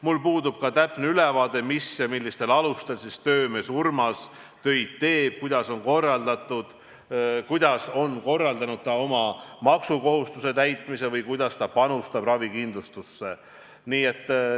Mul puudub täpne ülevaade, millistel alustel töömees Urmas töid teeb, kuidas ta on korraldanud oma maksukohustuse täitmise või kuidas ta panustab ravikindlustusse.